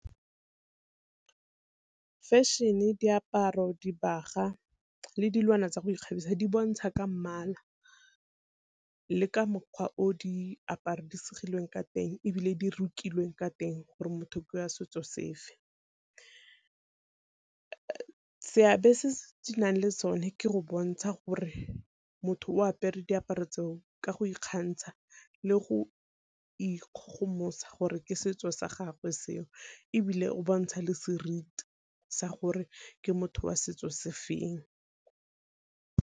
Fashion-e, diaparo, dibagwa le dilwana tsa go ikgabisa di bontsha ka mmala le ka mokgwa o di ka teng, ebile di rukilweng ka teng gore motho ke wa setso sefe. Seabe se se nang le sone ke go bontsha gore motho o apere diaparo tseo ka go ikgantsha le go ikgogomosa gore ke setso sa gagwe seo, ebile o bontsha le seriti sa gore ke motho wa setso se feng.